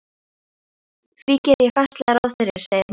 Því geri ég fastlega ráð fyrir, segir mamma.